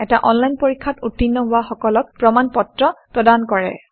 এটা অনলাইন পৰীক্ষাত উত্তীৰ্ণ হোৱা সকলক প্ৰমাণ পত্ৰ প্ৰদান কৰে